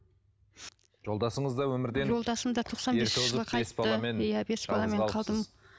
жолдасыңыз да өмірден жолдасым да тоқсан бесінші жылы қайтты иә бес баламен қалдым